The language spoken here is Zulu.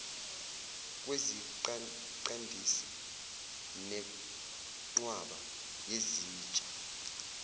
kweziqandisi nenqwaba yezitsha